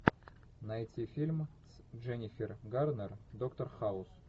найти фильм с дженифер гарнер доктор хаус